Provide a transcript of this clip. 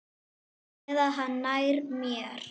Eða hann nær mér.